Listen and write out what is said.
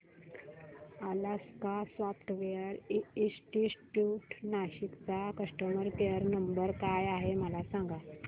Alaska software institute Nashik चा customer care number काय आहे मला सांग